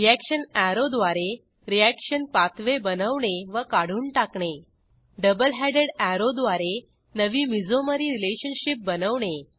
reaction arrow द्वारे reaction pathway बनवणे व काढून टाकणे डबल हेडेड अॅरो द्वारे नवी मेसोमेरी रिलेशनशीप बनवणे